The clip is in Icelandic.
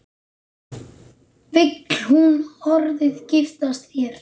Vill hún orðið giftast þér?